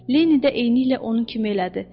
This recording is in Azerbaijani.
Lenni də eyniliklə onun kimi elədi.